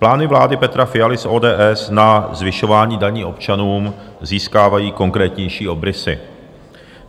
Plány vlády Petra Fialy z ODS na zvyšování daní občanům získávají konkrétnější obrysy.